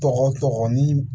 Tɔgɔ tɔgɔ ni